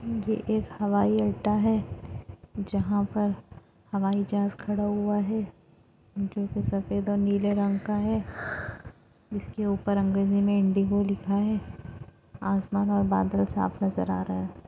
ये एक हवाई अड्डा है। जहा पर हवाई जहाज खड़ा हुआ है। जो की सफ़ेद और नीले रंग का है। जिसके ऊपर अंग्रेजी जी में इंडिगो लिखा है। आसमान और बादल साफ नजर आ रहा।